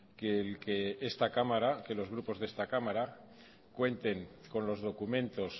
que el que esta cámara que los grupos de esta cámara cuenten con los documentos